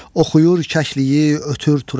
Oxuyur kəkliyi, ötür turacı.